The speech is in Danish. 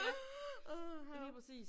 Ja, lige præcis